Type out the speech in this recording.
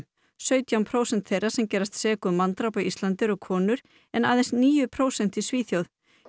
sautján prósent þeirra sem gerast sek um manndráp á Íslandi eru konur en aðeins níu prósent í Svíþjóð